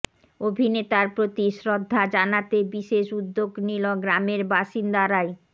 অভিনেতার প্রতি শ্রদ্ধা জানাতে বিশেষ উদ্যোগ নিল গ্রামের বাসিন্দারাই